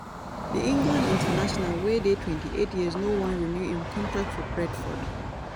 di england international wey dey twenty-eight years no wan renew im contract for brentford.